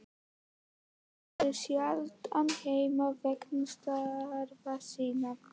Þau voru sjaldan heima vegna starfa sinna.